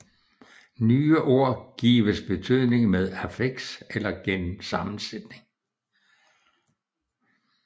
Nye ord gives betydning med affiks og gennem sammensætning